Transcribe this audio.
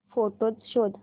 photos शोध